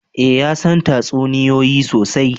Eh ya san tatsuniyoyi sosai